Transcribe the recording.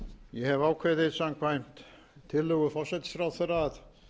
ég hefi ákveðið samkvæmt tillögu forsætisráðherra að